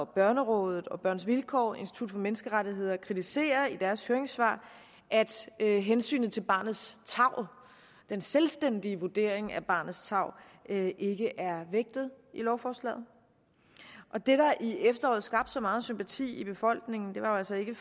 børnerådet børns vilkår og institut for menneskerettigheder kritiserer i deres høringssvar at hensynet til barnets tarv den selvstændige vurdering af barnets tarv ikke ikke er vægtet i lovforslaget det der i efteråret skabte så meget sympati i befolkningen var jo altså ikke